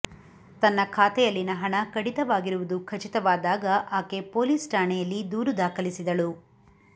ತನ್ನ ಖಾತೆಯಲ್ಲಿನ ಹಣ ಕಡಿತವಾಗಿರುವುದು ಖಚಿತವಾದಾಗ ಆಕೆ ಪೋಲಿಸ್ ಠಾಣೆಯಲ್ಲಿ ದೂರು ದಾಖಲಿಸಿದಳು